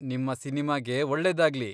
ನಿಮ್ಮ ಸಿನಿಮಾಗೆ ಒಳ್ಳೆದಾಗ್ಲಿ!